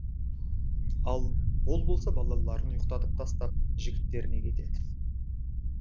ал ол болса балаларын ұйықтатып тастап жігіттеріне кетеді